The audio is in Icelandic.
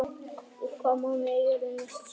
Í hvaða mánuði er jörðin næst sólinni?